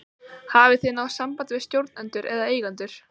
Hafið þið náð sambandi við stjórnendur eða eigendur?